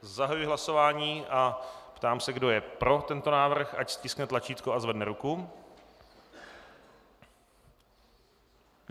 Zahajuji hlasování a ptám se, kdo je pro tento návrh, ať stiskne tlačítko a zvedne ruku.